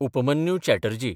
Upmanyu Chatterjee